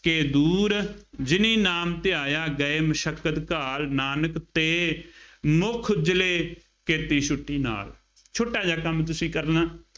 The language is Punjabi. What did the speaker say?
ਕੇ ਦੂਰਿ। ਜਿਨੀ ਨਾਮੁ ਧਿਆਇਆ ਗਏ ਮਸਕਤਿ ਘਾਲਿ ॥ ਨਾਨਕ ਤੇ ਮੁਖ ਉਜਲੇ ਕੇਤੀ ਛੁਟੀ ਨਾਲਿ ॥ ਛੋਟਾ ਜਿਹਾ ਕੰਮ ਤੁਸੀਂ ਕਰਨਾ,